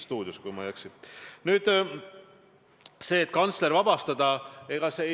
See on kindlasti väga produktiivne uus lisandus parlamentaarsele debatile.